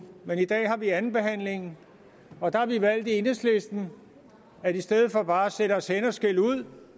i dag har vi andenbehandlingen og der har vi valgt i enhedslisten at vi i stedet for bare at sætte os hen og skælde ud